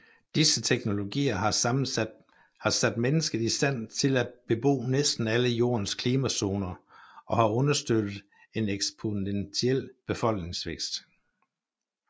Disse teknologier har sat mennesket i stand til at bebo næsten alle jordens klimazoner og har understøttet en eksponentiel befolkningsvækst